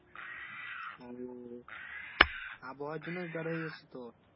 hello আবহাওয়ার জন্য জ্বর হয়েছে তোর?